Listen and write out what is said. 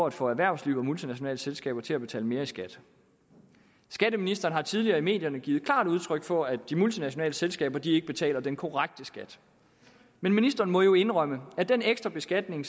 at få erhvervsliv og multinationale selskaber til at betale mere i skat skatteministeren har tidligere i medierne givet klart udtryk for at de multinationale selskaber ikke betaler den korrekte skat men ministeren må indrømme at den ekstra beskatning